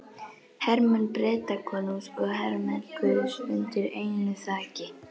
Hermenn Bretakonungs og hermenn guðs undir einu þaki.